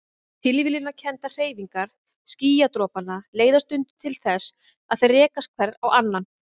Tilviljanakenndar hreyfingar skýjadropanna leiða stundum til þess að þeir rekast hver á annan.